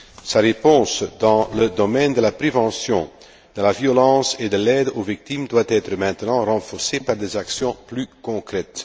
Sa réponse dans le domaine de la prévention de la violence et de l'aide aux victimes doit être maintenant renforcée par des actions plus concrètes.